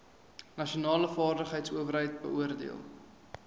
nasionale vaardigheidsowerheid beoordeel